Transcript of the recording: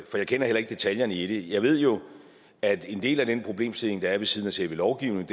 kender heller ikke detaljerne i det jeg ved jo at en del af den problemstilling der er ved siden af selve lovgivningen